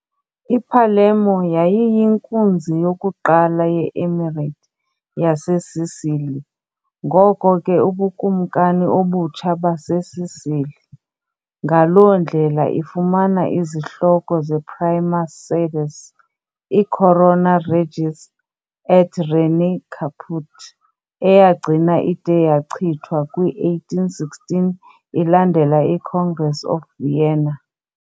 I-Palermo yayiyinkunzi yokuqala ye- Emirate yaseSicily, ngoko ke uBukumkani obutsha baseSicily, ngaloo ndlela ifumana izihloko ze- Prima Sedes, i-Corona Regis et Regni Caput, eyagcina ide yachithwa kwi-1816 ilandela iCongress of Vienna .